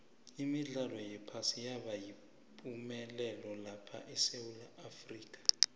imidlalo yephasi yaba yipumelelo lapha esewula afrika